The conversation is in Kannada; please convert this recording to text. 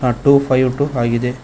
ಆ ಟೂ ಫೈಯ್ಯು ಟೂ ಆಗಿದೆ.